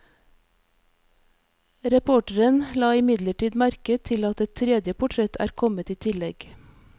Reporteren la imidlertid merke til at et tredje portrett er kommet i tillegg.